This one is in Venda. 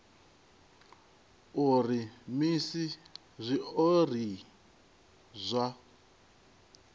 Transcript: a uri musi zwiori zwa